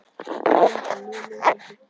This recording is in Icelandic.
Hafþór Gunnarsson: Mörg lið sem taka þátt?